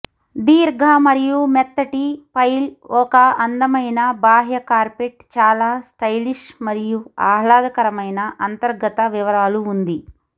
దీర్ఘ మరియు మెత్తటి పైల్ ఒక అందమైన బాహ్య కార్పెట్ చాలా స్టైలిష్ మరియు ఆహ్లాదకరమైన అంతర్గత వివరాలు ఉంది